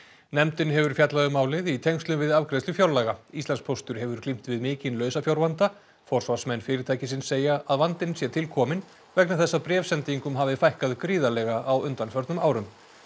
nefndin hefur fjallað um málið í tengslum við afgreiðslu fjárlaga Íslandspóstur hefur glímt við mikinn lausafjárvanda forsvarsmenn fyrirtækisins segja að vandinn sé til kominn vegna þess að bréfasendingum hafi fækkað gríðarlega á undanförnum árum